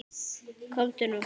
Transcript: Komdu nú.